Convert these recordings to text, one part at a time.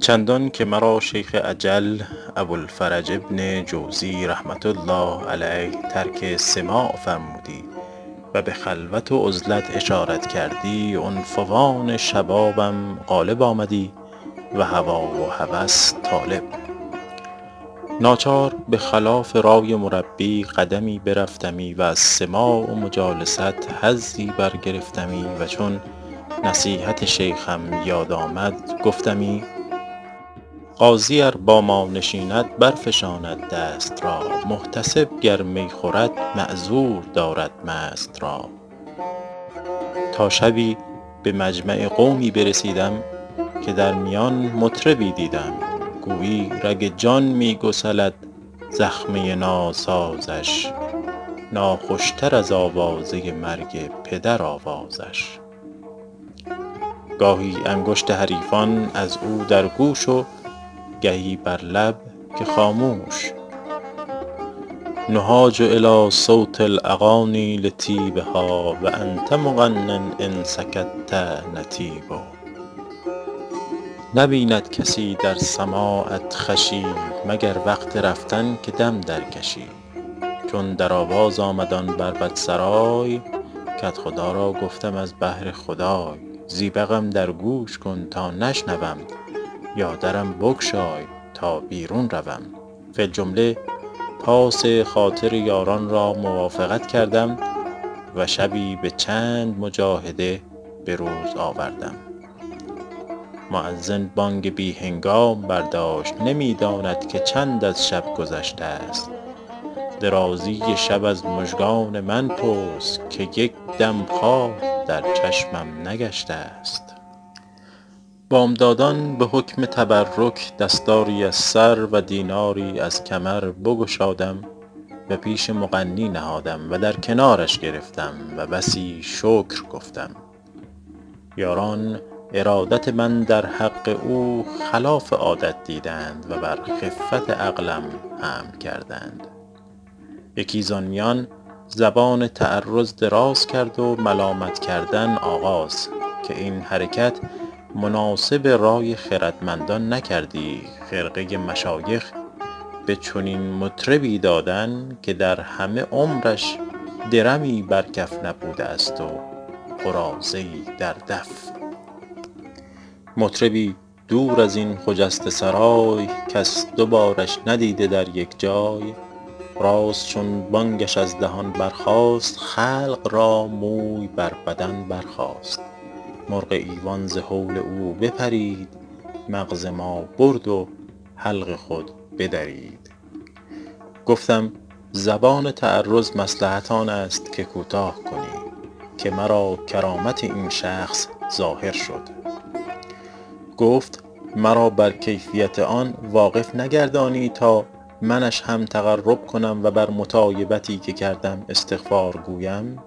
چندان که مرا شیخ اجل ابوالفرج بن جوزی رحمة الله علیه ترک سماع فرمودی و به خلوت و عزلت اشارت کردی عنفوان شبابم غالب آمدی و هوا و هوس طالب ناچار به خلاف رای مربی قدمی برفتمی و از سماع و مجالست حظی برگرفتمی و چون نصیحت شیخم یاد آمدی گفتمی قاضی ار با ما نشیند برفشاند دست را محتسب گر می خورد معذور دارد مست را تا شبی به مجمع قومی برسیدم که در میان مطربی دیدم گویی رگ جان می گسلد زخمه ناسازش ناخوش تر از آوازه مرگ پدر آوازش گاهی انگشت حریفان از او در گوش و گهی بر لب که خاموش نهاج الیٰ صوت الاغانی لطیبها و انت مغن ان سکت نطیب نبیند کسی در سماعت خوشی مگر وقت رفتن که دم درکشی چون در آواز آمد آن بربط سرای کدخدا را گفتم از بهر خدای زیبقم در گوش کن تا نشنوم یا درم بگشای تا بیرون روم فی الجمله پاس خاطر یاران را موافقت کردم و شبی به چند مجاهده به روز آوردم مؤذن بانگ بی هنگام برداشت نمی داند که چند از شب گذشته است درازی شب از مژگان من پرس که یک دم خواب در چشمم نگشته است بامدادان به حکم تبرک دستاری از سر و دیناری از کمر بگشادم و پیش مغنی نهادم و در کنارش گرفتم و بسی شکر گفتم یاران ارادت من در حق او خلاف عادت دیدند و بر خفت عقلم حمل کردند یکی زآن میان زبان تعرض دراز کرد و ملامت کردن آغاز که این حرکت مناسب رای خردمندان نکردی خرقه مشایخ به چنین مطربی دادن که در همه عمرش درمی بر کف نبوده است و قراضه ای در دف مطربی دور از این خجسته سرای کس دو بارش ندیده در یک جای راست چون بانگش از دهن برخاست خلق را موی بر بدن برخاست مرغ ایوان ز هول او بپرید مغز ما برد و حلق خود بدرید گفتم زبان تعرض مصلحت آن است که کوتاه کنی که مرا کرامت این شخص ظاهر شد گفت مرا بر کیفیت آن واقف نگردانی تا منش هم تقرب کنم و بر مطایبتی که کردم استغفار گویم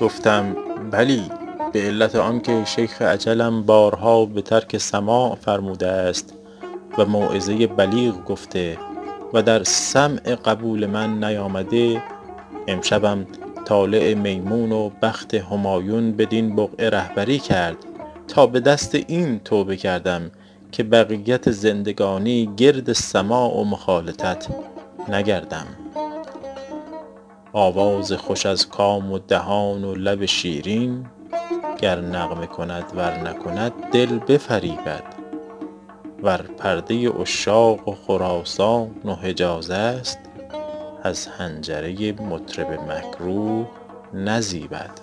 گفتم بلی به علت آن که شیخ اجلم بارها به ترک سماع فرموده است و موعظه بلیغ گفته و در سمع قبول من نیامده امشبم طالع میمون و بخت همایون بدین بقعه رهبری کرد تا به دست این توبه کردم که بقیت زندگانی گرد سماع و مخالطت نگردم آواز خوش از کام و دهان و لب شیرین گر نغمه کند ور نکند دل بفریبد ور پرده عشاق و خراسان و حجاز است از حنجره مطرب مکروه نزیبد